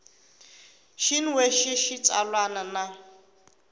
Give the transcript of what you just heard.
xin we xa xitsalwana na